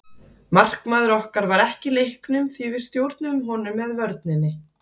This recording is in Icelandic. Markmaður okkar var ekki í leiknum því við stjórnuðum honum með vörninni.